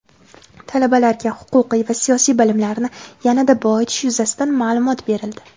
talabalarga huquqiy va siyosiy bilimlarini yanada boyitish yuzasidan maʼlumot berildi.